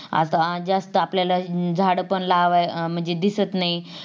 आता अं जास्त आपल्याला झाड पण लावा म्हणजे दिसत नाहीत